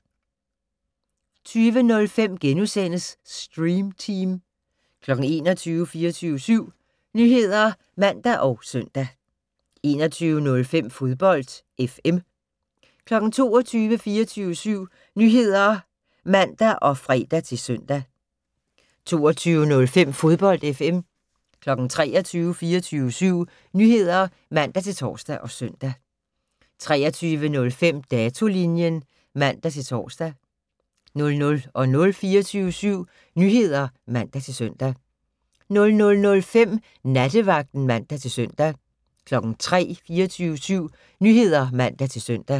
20:05: Stream Team * 21:00: 24syv Nyheder (man og søn) 21:05: Fodbold FM 22:00: 24syv Nyheder (man og fre-søn) 22:05: Fodbold FM 23:00: 24syv Nyheder (man-tor og søn) 23:05: Datolinjen (man-tor) 00:00: 24syv Nyheder (man-søn) 00:05: Nattevagten (man-søn) 03:00: 24syv Nyheder (man-søn)